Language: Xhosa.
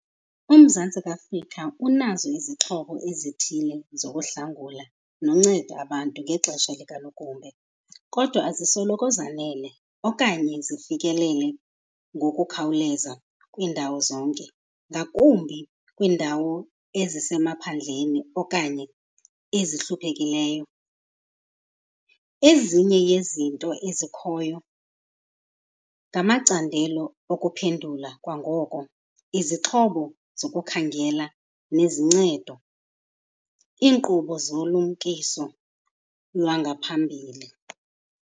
UMzantsi Afrika unazo izixhobo ezithile zokuhlangula nonceda abantu ngexesha likanogumbe kodwa azisoloko zanele okanye zifikelele ngokukhawuleza kwiindawo zonke, ngakumbi kwiindawo ezisemaphandleni okanye ezihluphekileyo. Ezinye yezinto ezikhoyo ngamacandelo okuphendula kwangoko, izixhobo zokukhangela nezincedo, iinkqubo zolumkiso lwangaphambili.